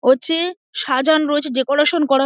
ওছে সাজান রয়েছে ডেকোরেশন করা।